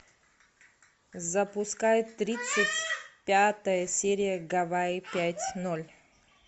запускай тридцать пятая серия гавайи пять ноль